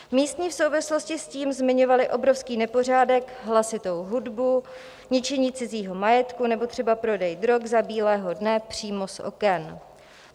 Místní v souvislosti s tím zmiňovali obrovský nepořádek, hlasitou hudbu, ničení cizího majetku nebo třeba prodej drog za bílého dne přímo z oken.